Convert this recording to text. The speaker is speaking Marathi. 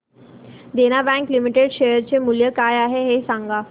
देना बँक लिमिटेड शेअर चे मूल्य काय आहे हे सांगा